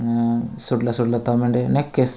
अ सूतला सुतला तमंडे नेकेस --